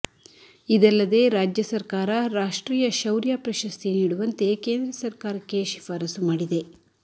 ಇದಲ್ಲದೆ ರಾಜ್ಯ ಸರ್ಕಾರ ರಾಷ್ಟ್ರೀಯ ಶೌರ್ಯ ಪ್ರಶಸ್ತಿ ನೀಡುವಂತೆ ಕೇಂದ್ರ ಸರ್ಕಾರಕ್ಕೆ ಶಿಫಾರಸು ಮಾಡಿದೆ